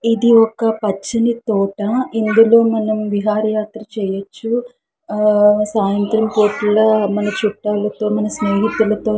ఇది ఒక పచ్చని తోట ఇందులో మనం విహారి యాత్ర చేయొచ్చు ఆ సాయంత్రం పూటలా మన చుట్టాలు తో మన స్నేహితులతో --